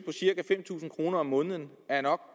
cirka fem tusind kroner om måneden nok